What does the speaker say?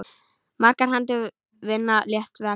Margar hendur vinna létt verk.